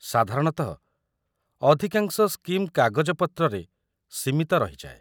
ସାଧାରଣତଃ, ଅଧିକାଂଶ ସ୍କିମ୍ କାଗଜପତ୍ରରେ ସୀମିତ ରହିଯାଏ ।